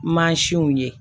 Mansinw ye